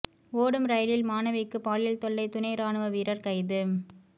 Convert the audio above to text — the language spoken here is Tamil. ஓடும் ரயிலில் மாணவிக்கு பாலியல் தொல்லை துணை ராணுவ வீரர் கைது